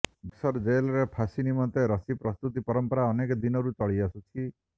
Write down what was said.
ବକ୍ସର ଜେଲରେ ଫାଶି ନିମନ୍ତେ ରଶି ପ୍ରସ୍ତୁତି ପରମ୍ପରା ଅନେକ ଦିନରୁ ଚଳିଆସୁଛି